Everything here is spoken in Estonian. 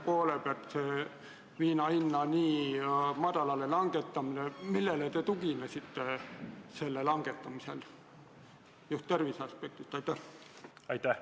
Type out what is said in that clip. Millele te tuginesite viina hinda nii madalale langetades, kui mõtlesite tervise aspekti peale?